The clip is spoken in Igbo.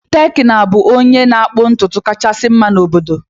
Tekena ga-abụ onye na-akpụ ntutu kachasị mma n'obodo.